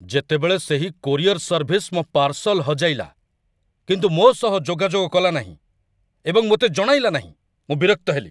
ଯେତେବେଳେ ସେହି courier service ମୋ ପାର୍ସଲ୍ ହଜାଇଲା, କିନ୍ତୁ ମୋ ସହ ଯୋଗାଯୋଗ କଲା ନାହିଁ ଏବଂ ମୋତେ ଜଣାଇଲା ନାହିଁ, ମୁଁ ବିରକ୍ତ ହେଲି।